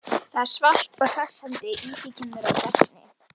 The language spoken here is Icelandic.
Það er svalt og hressandi, í því keimur af regni.